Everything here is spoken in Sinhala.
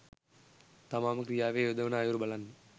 තමාම ක්‍රියාවේ යොදවන අයුරු බලන්න.